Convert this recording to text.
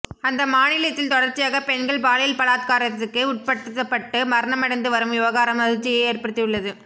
அந்த மாநிலத்தில் தொடர்ச்சியாக பெண்கள் பாலியல் பலாத்காரத்திற்கு உட்படுத்தப்பட்டு மரணமடைந்து வரும் விவகாரம் அதிர்ச்சியை ஏற்படுத்தியுள்ளது